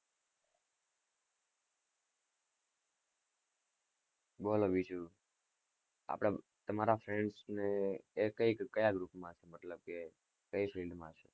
બોલો બીજું આપડા તમારા friends એ ક્યાં group માં છે મતલબ કે કઈ field માં.